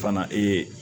Fana ee